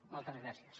moltes gràcies